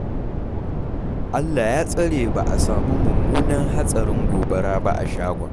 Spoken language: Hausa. Allah ya tsare ba a sami mummunan hatsarin gobara ba a shagon.